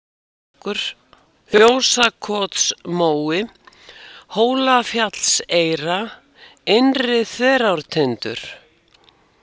Magnúsarstekkur, Fjósakotsmói, Hólafjallseyra, Innri-Þverártindur